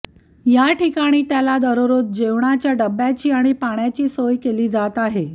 याठिकाणी त्याला दररोज जेवणाच्या डब्याची आणि पाण्याची सोय केली जात आहे